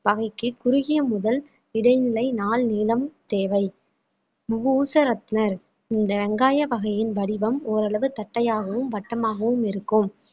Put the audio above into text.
வகைக்கு குறுகிய முதல் இடைநிலை நாள் நீலம் தேவை இந்த வெங்காய வகையின் வடிவம் ஓரளவு தட்டையாகவும் வட்டமாகவும் இருக்கும்